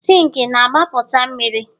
Zinc na-agbapụta mmiri?